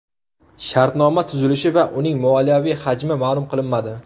Shartnoma tuzilishi va uning moliyaviy hajmi ma’lum qilinmadi.